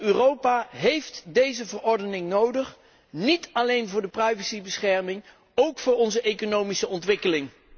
Europa heeft deze verordening nodig, niet alleen voor de privacybescherming, ook voor onze economische ontwikkeling.